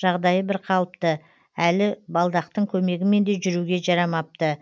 жағдайы бірқалыпты әлі балдақтың көмегімен де жүруге жарамапты